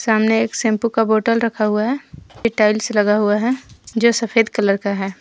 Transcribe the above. सामने एक शैम्पू का बॉटल रखा हुआ है एक टाइल्स लगा हुआ है जो सफ़ेद कलर का है।